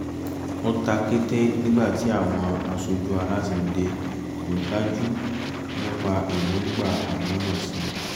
ó ta kété nígbà tí àwọn aṣojú aláṣẹ́ dé kò dájú nípa èròǹgbà àmọ̀ọ́mọ̀ ṣe